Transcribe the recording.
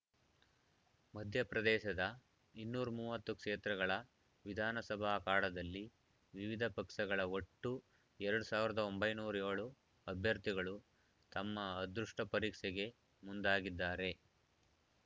ಮಧ್ಯಪ್ರದೇಶದ ಇನ್ನೂರ ಮೂವತ್ತು ಕ್ಷೇತ್ರಗಳ ವಿಧಾನಸಭಾ ಅಖಾಡದಲ್ಲಿ ವಿವಿಧ ಪಕ್ಷಗಳ ಒಟ್ಟು ಎರಡ್ ಸಾವಿರದ ಒಂಬೈನೂರು ಏಳು ಅಭ್ಯರ್ಥಿಗಳು ತಮ್ಮ ಅದೃಷ್ಟಪರೀಕ್ಷೆಗೆ ಮುಂದಾಗಿದ್ದಾರೆ